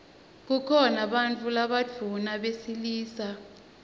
kukhona bantfu labadvuna besilisa